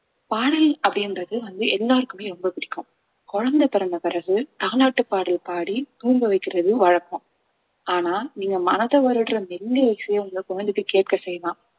பாடல் அப்படின்றது வந்து எல்லாருக்குமே ரொம்ப பிடிக்கும் குழந்தை பிறந்த பிறகு தாலாட்டு பாடல் பாடி தூங்க வைக்கிறது வழக்கம் ஆனா நீங்க மனத வருடுற மெல்லிய இசைய உங்க குழந்தைக்கு கேட்க செய்யலாம்